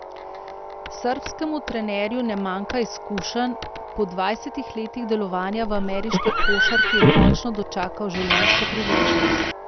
Srbskemu trenerju ne manjka izkušenj, po dvajsetih letih delovanja v ameriški košarki je končno dočakal življenjsko priložnost.